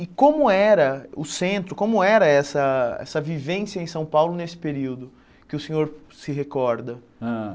E como era o centro, como era essa essa vivência em São Paulo nesse período que o senhor se recorda? Hã